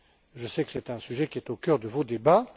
Je sais que c'est un sujet qui est au centre de vos débats.